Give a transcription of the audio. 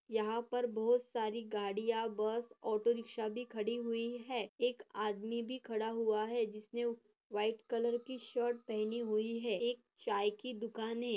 यहाँ पर बहुत सारी गड़िया बस ऑटो रिक्षा भी खड़ी हुई है एक आदमी भी खड़ा हुआ है जिसने व्हाइट कलर की शर्ट पहनी हुई है एक चाय की दुकान है।